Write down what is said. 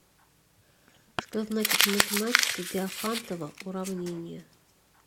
что значит в математике диофантово уравнение